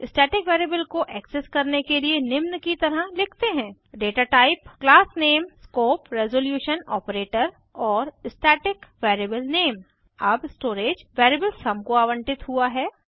static variable को access करने के लिए निम्न की तरह लिखते हैं datatype class name scope resolution operator और स्टैटिक वेरिएबल नामे अब स्टोरेज वेरिएबल सुम को आवंटित हुआ है